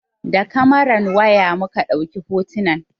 Da kamaran waya muka ɗauki hotunan.